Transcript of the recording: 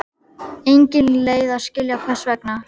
Engin leið að skilja hvers vegna.